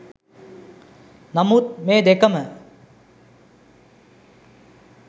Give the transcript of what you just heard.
නමුත් මේ දෙකම